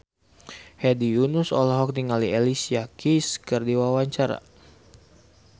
Hedi Yunus olohok ningali Alicia Keys keur diwawancara